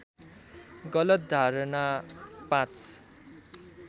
गलत धारणा ५